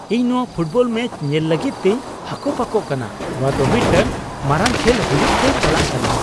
ᱤᱧ ᱱᱚᱣᱟ football match ᱧᱮᱞ ᱞᱟᱹᱜᱤᱫ ᱛᱮᱧ ᱦᱟᱠᱚᱯᱟᱠᱚᱜ ᱠᱟᱱᱟ ! ᱱᱚᱣᱟ ᱫᱚ ᱢᱤᱫᱴᱟᱝ ᱢᱟᱨᱟᱝ ᱠᱷᱮᱞ ᱦᱩᱭᱩᱜ ᱛᱮ ᱪᱟᱞᱟᱜ ᱠᱟᱱᱟ ᱾